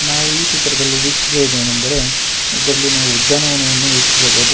ನಾವು ಈ ಚಿತ್ರದಲ್ಲಿ ವೀಕ್ಷಿಸುವುದೇನೆಂದರೆ ಇದ್ರಲ್ಲಿ ನಾವು ಉದ್ಯಾನವನವನ್ನು ವೀಕ್ಷಿಸಬಹುದು.